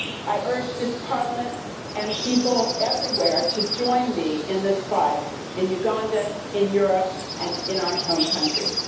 I urge this Parliament and people everywhere to join me in this fight in Uganda, in Europe, and in our home countries.